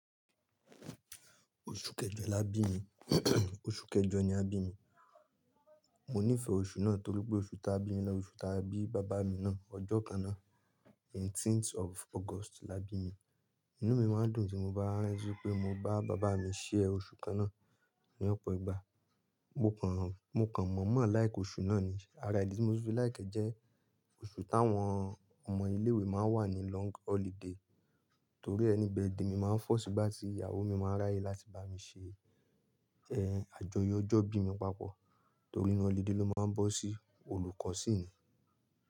Oṣù kẹjọ làbí mi, oṣù kẹjọ ni a bí mi. Mo nífẹ̀ẹ́ oṣù náà torípé oṣù tá bí mi ni oṣù tá bí bàbá mi náà. Ọjọ́ kanná "Eighteenth of August" làbí mi. Inú mi máa ń dùn tí mo bá ríi pé mo bá bàbá mi "share" oṣù kanná ní ọ̀pọ̀ ìgbà. Mo kàn, mo kàn mọ̀ mọ̀ "like" oṣù náà ni. Àrá idi tí mo tu fi "like" e jẹ́ oṣù táwọn ọmọ ilé ìwé máa ń wà ní "long holiday". Torí "any birthday" mí máa ń "fall" sígbà tí ìyàwó mi máa ń ráyè láti bá mi ṣe, ẹ, àjọyọ̀ ọjọ́ bí mi papọ̀ torí inú "holiday" ló máa ń bọ́ sí, olùkọ́ síni.